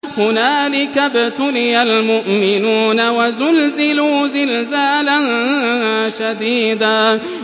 هُنَالِكَ ابْتُلِيَ الْمُؤْمِنُونَ وَزُلْزِلُوا زِلْزَالًا شَدِيدًا